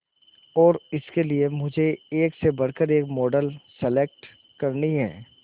और इसके लिए मुझे एक से बढ़कर एक मॉडल सेलेक्ट करनी है